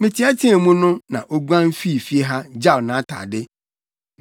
Meteɛteɛ mu no na oguan fii fie ha, gyaw nʼatade.”